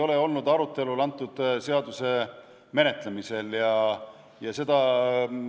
See teema ei ole antud seaduse menetlemisel arutelu all olnud.